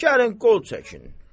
Deyir gəlin qol çəkin.